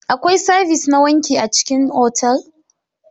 Akwai sabis na wanki a cikin otal.